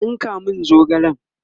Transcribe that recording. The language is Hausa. ka tsinka min zogalen!